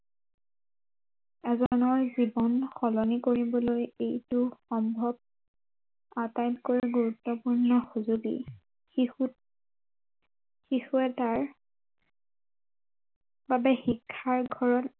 এজনৰ জীৱন সলনি কৰিবলৈ এইটো সম্ভৱ, আটাইতকৈ গুৰুত্ৱপূৰ্ণ সজূলি শিশু, শিশু এটাৰ বাবে শিক্ষাৰ ঘৰত